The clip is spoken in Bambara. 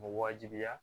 U bɛ wajibiya